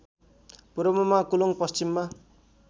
पूर्वमा कुलुङ् पश्चिममा